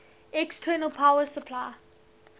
external power supply